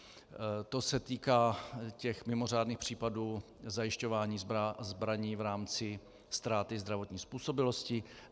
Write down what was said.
To se týká těch mimořádných případů zajišťování zbraní v rámci ztráty zdravotní způsobilosti.